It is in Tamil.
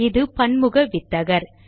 இது பன்முக வித்தகர்